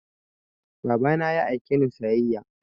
Baba na ya aike ni sayayya